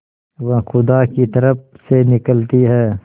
वह खुदा की तरफ से निकलती है